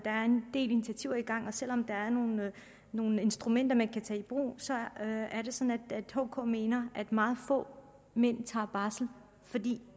del initiativer i gang og selv om der er nogle instrumenter man kan tage i brug så er det sådan at hk mener at meget få mænd tager barsel fordi